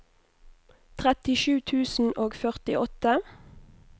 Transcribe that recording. trettisju tusen og førtiåtte